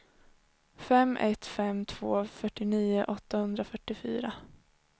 fem ett fem två fyrtionio åttahundrafyrtiofyra